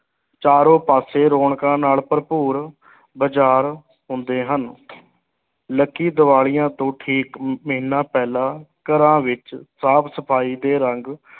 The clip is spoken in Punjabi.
ਚਾਰੋਂ ਪਾਸੇ ਰੌਣਕਾਂ ਨਾਲ ਭਰਪੂਰ ਬਾਜ਼ਾਰ ਹੁੰਦੇ ਹਨ ਲਕੀ ਦੀਵਾਲੀਆਂ ਤੋਂ ਠੀਕ ਮਹੀਨਾ ਪਹਿਲਾਂ ਘਰਾਂ ਵਿੱਚ ਸਾਫ਼ ਸਫ਼ਾਈ ਤੇ ਰੰਗ